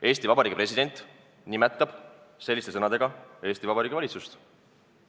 Eesti Vabariigi president nimetab selliste sõnadega Eesti Vabariigi valitsust!